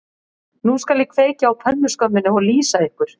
Nú skal ég kveikja á pönnuskömminni og lýsa ykkur